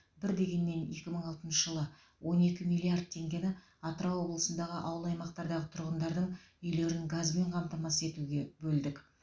бір дегеннен екі мың алтыншы жылы он екі миллард теңгені атырау облысындағы ауыл аймақтардағы тұрғындардың үйлерін газбен қамтамасыз етуге бөлдік